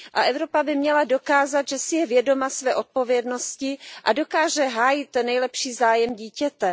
A Evropa by měla dokázat, že si je vědoma své odpovědnosti a dokáže hájit nejlepší zájem dítěte.